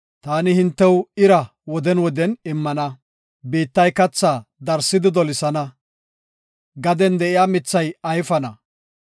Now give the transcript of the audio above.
taani hintew ira woden woden immana; biittay kathaa darsidi dolisana; gaden de7iya mithay ayfana.